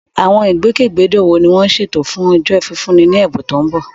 Àwọn ìgbòkègbodò wo ni wọ́n ṣètò fún Ọjọ́ Fífúnni Ní Ẹ̀bùn tó ń bọ̀?